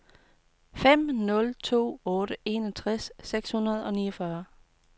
fem nul to otte enogtres seks hundrede og niogfyrre